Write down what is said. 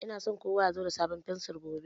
Ina so kowa ya zo da sabon fensir gobe.